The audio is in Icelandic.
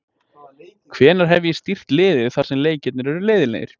Hvenær hef ég stýrt liði þar sem leikirnir eru leiðinlegir?